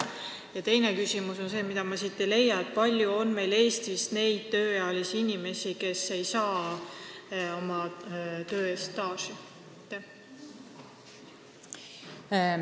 Ja teine küsimus on see: ma ei leia seletuskirjast andmeid, kui palju on Eestis neid tööealisi inimesi, kes oma töö eest staažiaastaid ei saa.